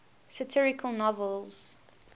satirical novels